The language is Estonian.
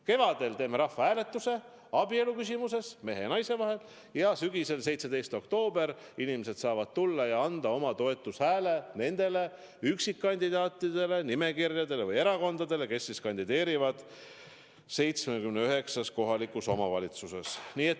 Kevadel teeme rahvahääletuse küsimuses, kas abielu on mehe ja naise vahel, ja sügisel, 17. oktoobril inimesed saavad tulla ja anda oma toetushääle nendele üksikkandidaatidele, nimekirjadele või erakondadele, kes kandideerivad 79 kohalikus omavalitsuses.